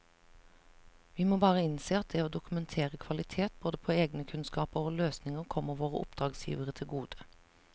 Vi må bare innse at det å dokumentere kvalitet både på egne kunnskaper og løsninger kommer våre oppdragsgivere til gode.